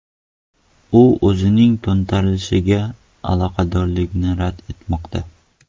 U o‘zining to‘ntarishga aloqadorligini rad etmoqda.